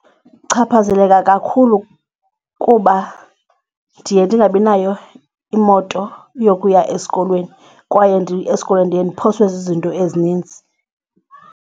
Ndichaphazeleka kakhulu kuba ndiye ndingabi nayo imoto yokuya esikolweni kwaye esikolweni ndiye ndiphoswe zizinto ezininzi.